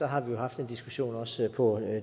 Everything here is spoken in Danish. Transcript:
har vi jo haft en diskussion også på